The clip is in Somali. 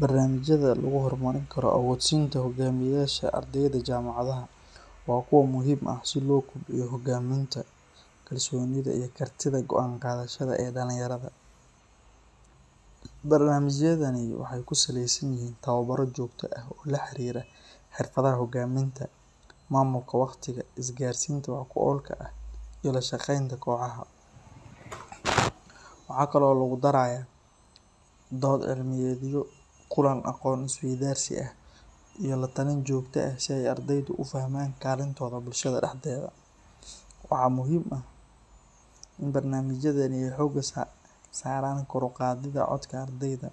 Barnamijyada lagu horumarin karo awood-sinta hoggaamiyeyaasha ardayda jaamacadaha waa kuwo muhiim ah si loo kobciyo hogaaminta, kalsoonida iyo kartida go'aan qaadashada ee dhalinyarada. Barnaamijyadani waxa ay ku salaysan yihiin tababaro joogto ah oo la xiriira xirfadaha hoggaaminta, maamulka wakhtiga, isgaarsiinta wax ku oolka ah, iyo la shaqeynta kooxaha. Waxa kale oo lagu darayaa dood cilmiyeedyo, kulamo aqoon-isweydaarsi ah iyo la-talin joogto ah si ay ardaydu u fahmaan kaalintooda bulshada dhexdeeda. Waxaa muhiim ah in barnaamijyadani ay xoogga saaraan kor u qaadidda codka ardayda,